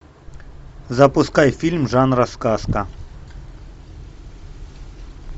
запускай фильм жанра сказка